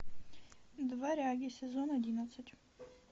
дворяне сезон одиннадцать